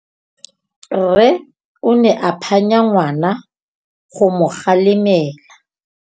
Rre o ne a phanya ngwana go mo galemela.